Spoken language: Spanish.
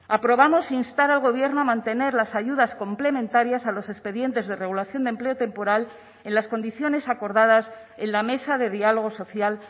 aprobamos instar al gobierno a mantener las ayudas complementarias a los expedientes de regulación de empleo temporal en las condiciones acordadas en la mesa de diálogo social